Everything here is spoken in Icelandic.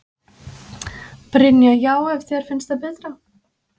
Brynja: Já þér finnst það betra?